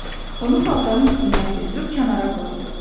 Onu paltarın üstündən götürüb kənara qoydu.